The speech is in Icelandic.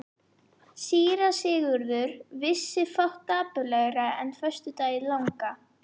Síra Sigurður vissi fátt dapurlegra en föstudaginn langa.